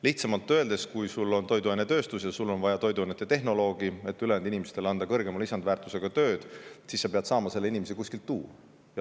Lihtsamalt öeldes, kui sul on toiduainetööstus ja sul on vaja toiduainetehnoloogi, et ülejäänud inimestele anda kõrgema lisandväärtusega tööd, siis sa pead saama selle inimese kuskilt tuua.